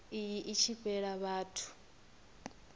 iyi i tshi fhela vhathu